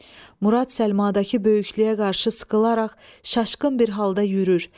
Murad Səlmadakı böyüklüyə qarşı sıxılaraq, çaşqın bir halda yürür.